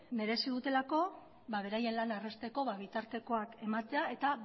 merezi dutelako beraien lana errazteko bitartekoak ematea eta